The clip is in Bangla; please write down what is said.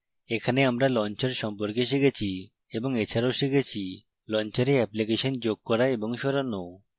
এখানে আমরা launcher সম্পর্কে শিখেছি এবং এছাড়াও শিখেছি: launcher অ্যাপ্লিকেশন যোগ করা এবং সরানো